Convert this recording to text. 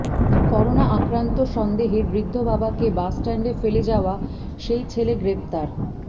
corona আক্রান্ত সন্দেহে বৃদ্ধ বাবাকে বাসস্ট্যান্ডে ফেলে যাওয়া সেই ছেলে গ্রেপ্তার